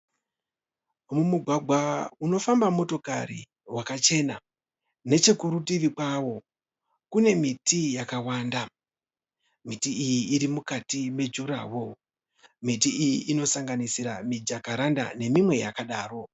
Mugwagwa unofamba motokari wakachena. Nechekurutivi kwawo Kune miti yakawanda. Miti Iyi iri mukati me jura woro. Miti iyi inosanganisira mijakaranda neminwe yakadaro.